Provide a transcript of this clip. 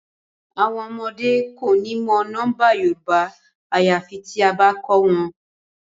Awọn ọmọde ko ni mọ nọmba Yorùbá ayafi tia ba kọ wọn